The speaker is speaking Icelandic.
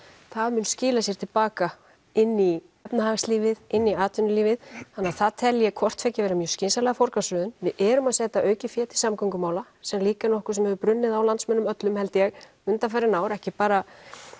mun skila sér til baka inn í efnahagslífið inn í atvinnulífið þannig það tel ég hvort tveggja vera mjög skynsamlega forgangsröðun við erum að setja aukið fé til samgöngumála sem er líka nokkuð sem hefur brunnið á landsmönnum öllum held ég undanfarin ár ekki bara